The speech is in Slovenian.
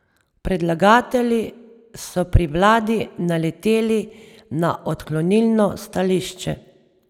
Predlagatelji so pri vladi naleteli na odklonilno stališče.